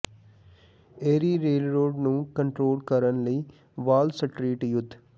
ਇਰੀ railroad ਨੂੰ control ਕਰਨ ਲਈ ਵਾਲ ਸਟਰੀਟ ਯੁੱਧ